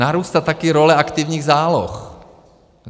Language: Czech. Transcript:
Narůstá taky role aktivních záloh.